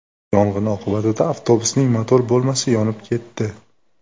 Yong‘in oqibatida avtobusning motor bo‘lmasi yonib ketdi.